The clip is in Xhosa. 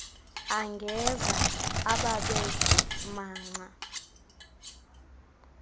angeza ababethe manca